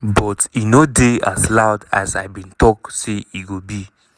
"but e no dey as loud as i bin think say e go be."